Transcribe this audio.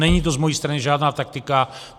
Není to z mé strany žádná taktika.